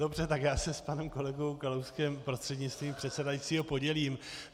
Dobře, tak já se s panem kolegou Kalouskem prostřednictvím předsedajícího podělím.